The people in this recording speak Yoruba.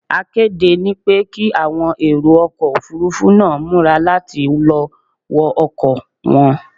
A kéde ni pé kí àwọn èrò ọkọ̀ Òfurufú náà múra láti lọ wọ ọkọ̀ wọn.